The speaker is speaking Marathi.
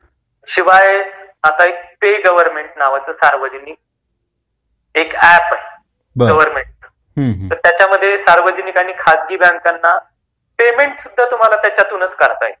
शिवाय आता एक पे गवर्नमेंट नावाच सार्वजनिक ऐप आहे गवर्नमेंटचं, तर त्याच्यामध्ये सार्वजानिक आणि खाजगी बैंकाना पेमेंट सुद्धा त्यातून करता येईल.